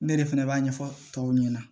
Ne yɛrɛ fɛnɛ b'a ɲɛfɔ tɔw ɲɛna